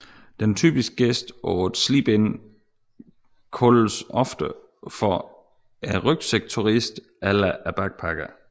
Den typiske gæst på et sleep in kaldes ofte for en rygsækturist eller backpacker